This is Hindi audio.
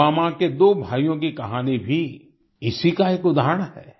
पुलवामा के दो भाइयों की कहानी भी इसी का एक उदाहरण है